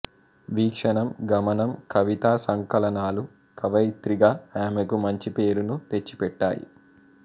వీక్షణం గమనం కవితా సంకలనాలు కవయిత్రిగా ఆమెకు మంచి పేరును తెచ్చిపెట్టాయి